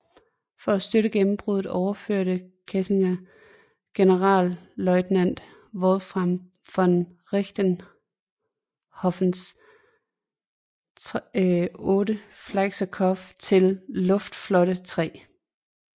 For at støtte gennembruddet overførte Kesselring Generalleutnant Wolfram von Richthofens VIII Fliegerkorps til Luftflotte 3